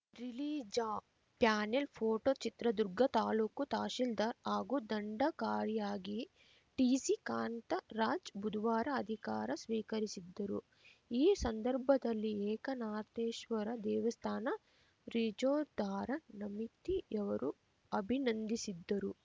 ರಿಲೀಜ panel photo Chitradurga taluk tahsildar ಹಾಗೂ ದಂಡಕಾರಿಯಾಗಿ T C Kantharaj ಬುಧವಾರ ಅಧಿಕಾರ ಸ್ವೀಕರಿಸಿದ್ದರು ಈ ಸಂದರ್ಭದಲ್ಲಿ ಏಕನಾಥೇಶ್ವರ ದೇವಸ್ಥಾನ ರಿಜೋದ್ಧಾರ ಸಮಿತಿಯವರು ಅಭಿನಂದಿಸಿದ್ದರು